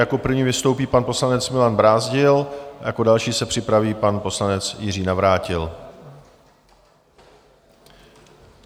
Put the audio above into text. Jako první vystoupí pan poslanec Milan Brázdil, jako další se připraví pan poslanec Jiří Navrátil.